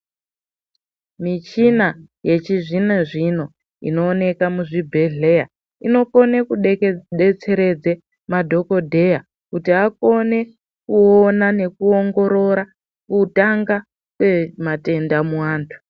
Michina yechizvino zvino inooneka muzvibhedhleya inokone kudetseredze madhokodheya kuti akone kuona nekuongorora kutanga kwematenda muantu.